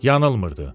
Yanılmırdı.